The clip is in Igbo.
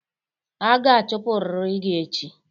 A ga-achụpụrịrị gị echi!